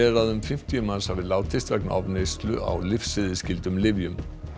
að um fimmtíu manns hafi látist vegna ofneyslu á lyfseðilsskyldum lyfjum